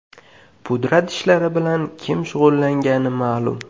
Pudrat ishlari bilan kim shug‘ullangani ma’lum.